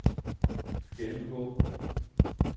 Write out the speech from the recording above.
gennemgå